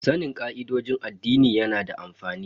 Sanin ka'idojin addini yana da amfani.